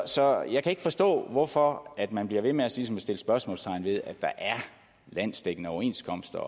så jeg kan ikke forstå hvorfor man bliver ved med ligesom at sætte spørgsmålstegn ved at der er landsdækkende overenskomster